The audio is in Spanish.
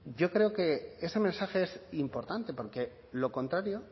yo creo que ese mensaje es importante porque lo contrario